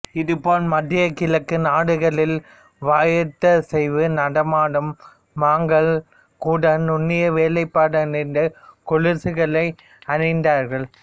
இது போல மத்திய கிழக்கு நாடுகளில் வயிற்றசைவு நடனமாடும் மங்கைகள் கூட நுண்ணிய வேலைப்படமைந்த கொலுசுகளை அணிந்தார்கள்